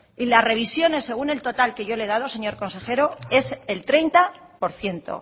y las revisiones según el total que yo le he dado señor consejero es el treinta por ciento